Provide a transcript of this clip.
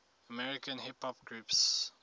american hip hop groups